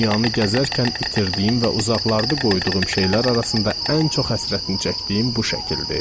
Dünyanı gəzərkən itirdiyim və uzaqlarda qoyduğum şeylər arasında ən çox həsrətini çəkdiyim bu şəkildir.